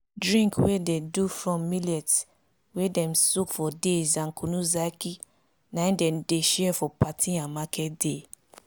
drink wey dey do from millet wey dem soak for days and kunu zaki na im dem dey share for party and market day